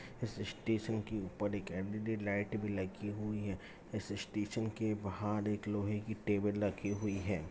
इस स्टेशन के ऊपर एक एल.ई.डी. लाइट भी लगी हुई है इस स्टेशन के बाहर एक लोहे की टेबुल लगी हुई है।